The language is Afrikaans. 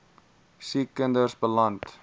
siek kinders beland